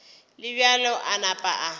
le bjalo a napa a